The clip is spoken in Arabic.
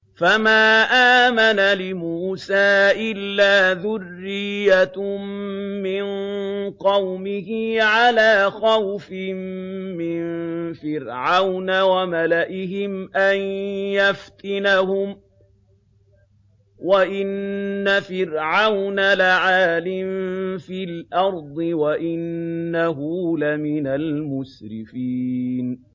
فَمَا آمَنَ لِمُوسَىٰ إِلَّا ذُرِّيَّةٌ مِّن قَوْمِهِ عَلَىٰ خَوْفٍ مِّن فِرْعَوْنَ وَمَلَئِهِمْ أَن يَفْتِنَهُمْ ۚ وَإِنَّ فِرْعَوْنَ لَعَالٍ فِي الْأَرْضِ وَإِنَّهُ لَمِنَ الْمُسْرِفِينَ